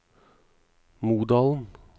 Modalen